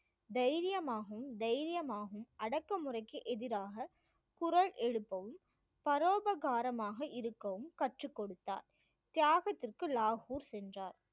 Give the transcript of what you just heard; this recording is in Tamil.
தைரியமாகவும் தைரியமாகவும் அடக்குமுறைக்கு எதிராக குரல் எழுப்பவும் பரோபகாரமாக இருக்கவும் கற்றுக் கொடுத்தார் தியாகத்திற்கு லாகூர் சென்றார்